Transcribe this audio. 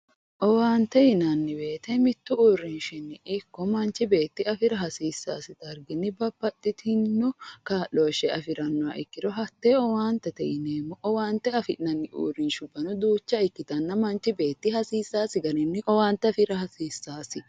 Owaante yineemmo woyite mittu uurrinshinni ikko manchu beetti afira hasiissaasi darginni babbaxxitinno kaa'looshshe afirannoha ikkiro hattee owaantete yineemmo. Owaante afi'nanni uurrinshabbanno duucha ikkitinna manchi beetti hasiisaasi garii owaante afira hasiissaasi.